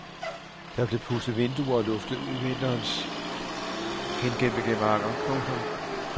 Der bliver pudset vinduer og luftet ud i vinterens hengemte gemakker. punktum